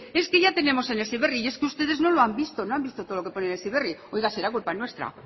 es que ya tenemos el heziberri y es que ustedes no lo han visto no han visto todo lo que pone en el heziberri oiga será culpa nuestra